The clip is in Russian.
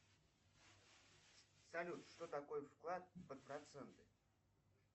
салют что такое вклад под проценты